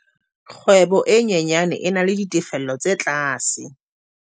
kgwebo e nyenyane e na le ditefello tse tlase